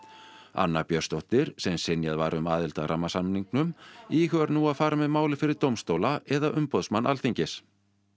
anna Björnsdóttir sem synjað var um aðild að rammasamningnum íhugar nú að fara með málið fyrir dómstóla eða umboðsmann Alþingis